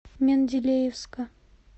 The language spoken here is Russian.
менделеевска